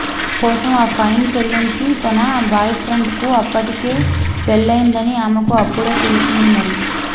తన కోసం ఆ ఫైన్ చెల్లించిన తన బాయ్ఫ్రెండ్కు అప్పటికే పెళ్లయిందని ఆమెకు అప్పుడే తెలిసింది మరి